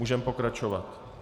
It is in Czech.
Můžeme pokračovat.